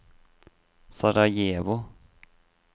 Sarajevo